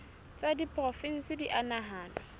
tsa diporofensi di a nahanwa